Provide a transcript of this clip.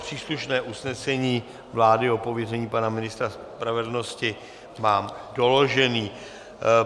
Příslušné usnesení vlády o pověření pana ministra spravedlnosti mám doložené.